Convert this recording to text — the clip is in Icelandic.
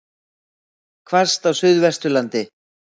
Hvasst á Suðvesturlandi